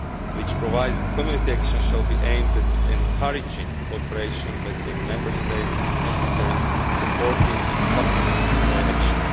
which provides that Community action shall be aimed at encouraging cooperation between Member States and, if necessary, supporting and supplementing their action.